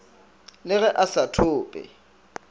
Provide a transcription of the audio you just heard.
le ge a sa thope